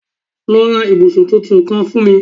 Lọ ra ibusun titun kan fun mi